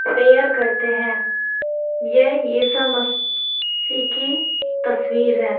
Prayer करते है। ये ईसाम सी की तस्वीर है।